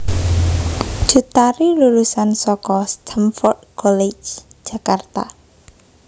Cut Tari lulusan saka Stamford College Jakarta